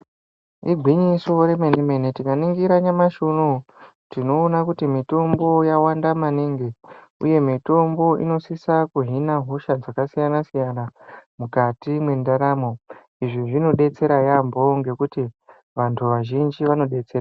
Igwinyiso remenemene tikaringira nyamashi unou tinoona kuti mitombo yawanda maningi uye mitombo inosisa kuhina hosha dzakasiyana siyana mukati mwendaramo izvi zvinodetsera yaambo ngekuti vanthu vazhinji vanodetserwa.